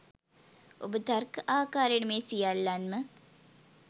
ඔබ තර්ක ආකාරයට මේ සියල්ලන්ම